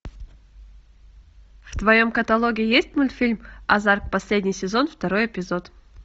в твоем каталоге есть мультфильм азарт последний сезон второй эпизод